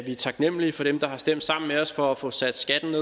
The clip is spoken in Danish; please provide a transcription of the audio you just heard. vi er taknemlige for dem der har stemt sammen med os for at få sat skatten